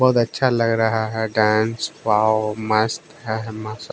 बहुत अच्छा लग रहा है डांस वाव मस्त है मस--